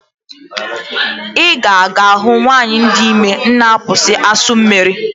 Ị ga-aga ahụ nwanyị dị ime na-abụ asụ mmiri?